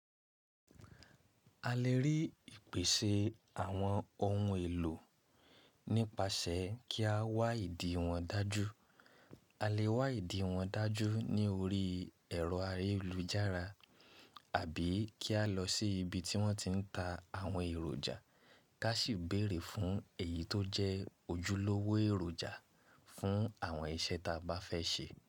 A lè rí ìpèsè àwọn ohun èlò nípasẹ̀ kí a wá ìdí wọn dájú. A lè wá ìdí wọn dájú ní orí ẹ̀rọ ayélujára àbí kí a lọ sí ibi tí wọ́n ti ń ta àwọn èròjà, ká sì béèrè fún èyí tó jẹ́ ojúlówó èròjà fún àwọn iṣẹ́ ta bá fẹ́ ṣe.